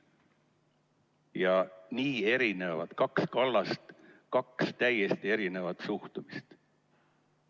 Ja kaks nii erinevat kallast, kaks täiesti erinevat suhtumist.